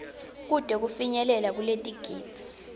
kute kufinyelele kuletigidzi